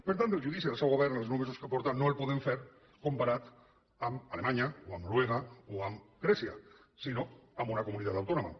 per tant el judici del seu govern en els nou mesos que porta no el podem fer comparat amb alemanya o amb noruega o amb grècia sinó amb una comunitat autònoma